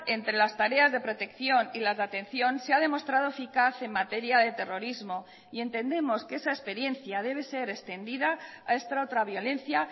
entre las tareas de protección y las de atención se ha demostrado eficaz en materia de terrorismo y entendemos que esa experiencia debe ser extendida a esta otra violencia